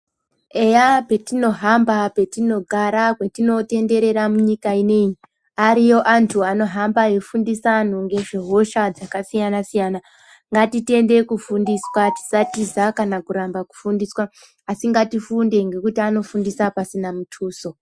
Eya petinohamba petinogara petinotenderera munyika inoiyi ariyo antu anohamba eifundisa antu ngezvehosha dzakasiyana-siyana. Ngatitende kufundiswa tisatiza kana kuramba kufundiswa asi ngatifunde ngekuti anofundisa pasina mutuso.